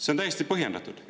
See on täiesti põhjendatud.